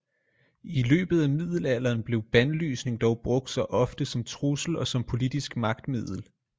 I løbet af middelalderen blev bandlysning dog brugt så ofte som trussel og som politisk magtmiddel